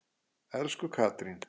Elsku Katrín.